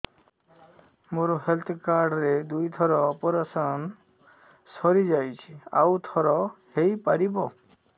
ମୋର health card ରେ ଦୁଇ ଥର ଅପେରସନ ସାରି ଯାଇଛି ଆଉ ଥର ହେଇପାରିବ